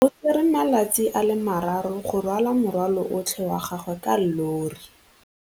O tsere malatsi a le marraro go rwala morwalo otlhe wa gagwe ka llori.